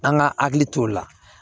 An ka hakili t'o la